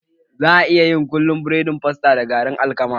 Za a iya yin kullun burodin fasta da garin alkama